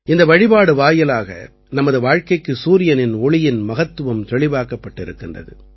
இந்த வழிபாடு வாயிலாக நமது வாழ்க்கைக்கு சூரியனின் ஒளியின் மகத்துவம் தெளிவாக்கப்பட்டிருக்கின்றது